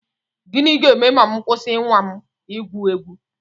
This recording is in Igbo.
Gịnị ga-eme ma m kwụsị nnwa m igwu egwu?